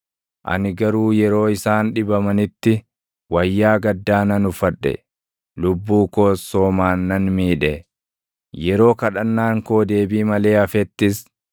Ani garuu yeroo isaan dhibamanitti, // wayyaa gaddaa nan uffadhe; lubbuu koos soomaan nan miidhe. Yeroo kadhannaan koo deebii malee hafettis